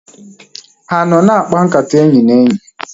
Ha anọ na-akpa nkata enyi na enyi?